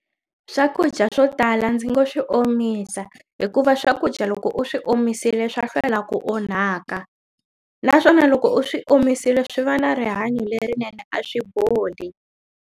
Swakudya swo tala ndzi ngo swi omisa hikuva swakudya loko u swi omisile swa hlwela ku onhaka naswona loko u swi omisile swi va na rihanyo lerinene a swi boli.